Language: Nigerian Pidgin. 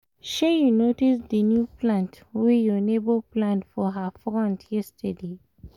shey you notice the new plant wey your neighbour plant for her front yesterday?